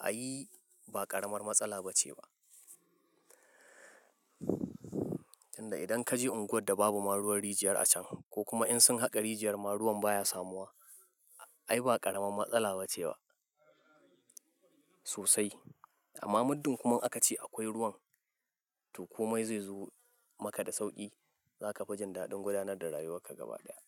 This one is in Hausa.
ai ba ƙaramar matsala ba ce ba. Inda idan kaje unguwar da babu ma ruwan rijiyar a can ko kuma in sun haƙa rijiyar ma ruwan baya samuwa, ai ba ƙaramin matsala ba ce wa sosai. Amma muddin kuma aka ce akwai ruwan to komai zai zo maka da sauƙi. Za ka fi jin daɗin gudanar da rayuwarka gaba ɗaya.